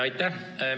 Aitäh!